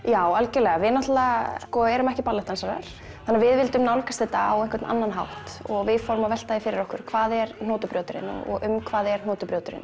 já algjörlega við náttúrulega sko erum ekki ballettdansarar þannig að við vildum nálgast þetta á einhvern annan hátt og við fórum að velta því fyrir okkur hvað er og um hvað er